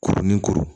Kuru ni kuru